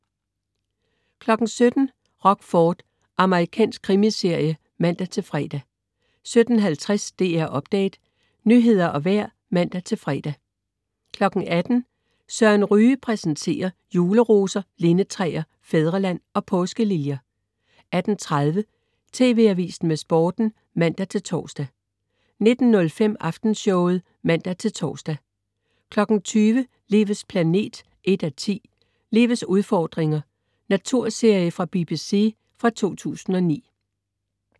17.00 Rockford. Amerikansk krimiserie (man-fre) 17.50 DR Update. Nyheder og vejr (man-fre) 18.00 Søren Ryge præsenterer. Juleroser, lindetræer, fædreland og påskeliljer 18.30 TV Avisen med Sporten (man-tors) 19.05 Aftenshowet (man-tors) 20.00 Livets planet 1:10. "Livets udfordringer". Naturserie fra BBC fra 2009